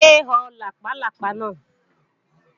Yé ho làpálápá náà!